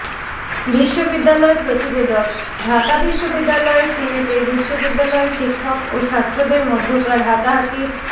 বিশ্ববিদ্যালয় প্রতিবেদকঃ ঢাকা বিশ্ববিদ্যালয়ের সিনেটে বিশ্ববিদ্যালয়ের শিক্ষক ও ছাত্রদের মধ্যকার হাতাহাতির